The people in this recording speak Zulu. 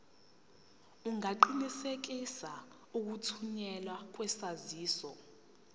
ungaqinisekisa ukuthunyelwa kwesaziso